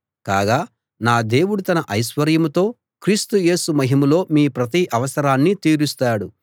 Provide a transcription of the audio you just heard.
కాగా నా దేవుడు తన ఐశ్వర్యంతో క్రీస్తు యేసు మహిమలో మీ ప్రతి అవసరాన్నీ తీరుస్తాడు